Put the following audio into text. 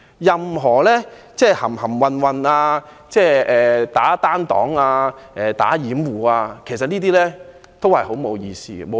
任何含含混混、單擋掩護都是沒有意思的。